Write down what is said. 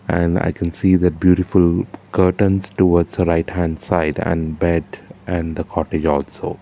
and i can see the beautiful curtains towards a right hand side and bed and the cottage also.